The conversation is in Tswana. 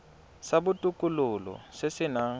sa botokololo se se nang